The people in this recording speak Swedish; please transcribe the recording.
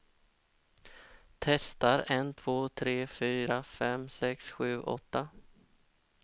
Testar en två tre fyra fem sex sju åtta.